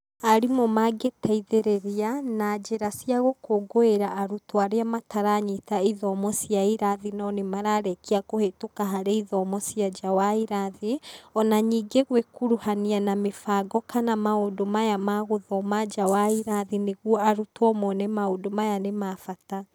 Aarimũ mangĩteithĩrĩria na njĩra cia gũkũngũĩra arutwo arĩa mataranyita ithomo cia irathi no nĩ mararĩkĩa kũhĩtũka harĩ ithomo cia nja wa irathi,o na ningĩ gũĩkuruhania na mĩbango kana maũndũ maya ma gũthoma nja wa irathi nĩguo arutwo mone maũndũ maya nĩ ma bata.